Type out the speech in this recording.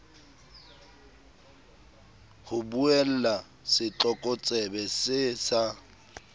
ho buella setlokotsebe see sa